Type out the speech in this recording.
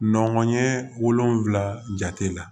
Nɔnkɔnɲɛ wolonfila jate la